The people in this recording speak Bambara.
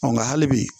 Nka hali bi